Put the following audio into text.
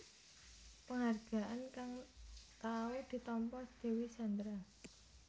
Penghargaan kang tau ditampa Dewi Sandra